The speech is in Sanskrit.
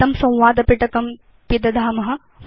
एतं संवाद पिटकं पिदधाम